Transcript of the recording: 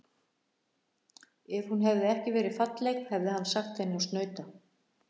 Ef hún hefði ekki verið falleg hefði hann sagt henni að snauta.